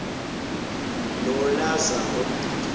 nolazaro